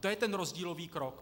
To je ten rozdílový krok.